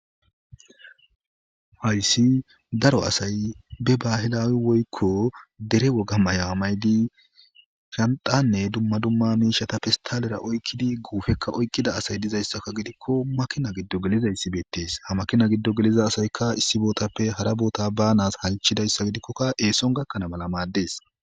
hayssi daro asay be baahilai woykko dere wogamaya amaydi shandanne dumma dumma miishata pistalera oykkidi guufekka oykkida asay dizayssaka gidikko makina giddo geliza issibeettees ha makina giddo geliza asayka issibootappe hara boota banas hanchidayssa gidikkokka eeson gakkana mala maaddees